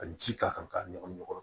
Ka ji k'a kan k'a ɲagami ɲɔgɔn na